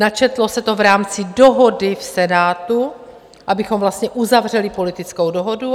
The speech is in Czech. Načetlo se to v rámci dohody v Senátu, abychom vlastně uzavřeli politickou dohodu.